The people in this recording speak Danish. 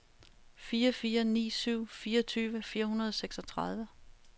fire fire ni syv fireogtyve fire hundrede og seksogtredive